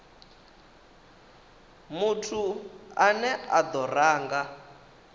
muthu ane a do ranga